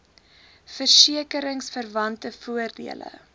verseke ringsverwante voordele